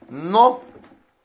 но